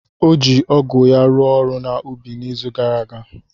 O ji ọgụ ya rụọ ọrụ na ubi na izu gara aga.